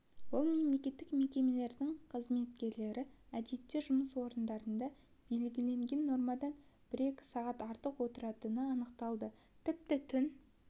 бұл мемлекеттік мекемелердің қызметкерлері әдетте жұмыс орындарында белгіленген нормадан бір-екі сағат артық отыратыны анықталды тіпті түн